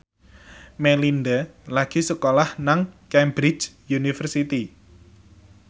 Melinda lagi sekolah nang Cambridge University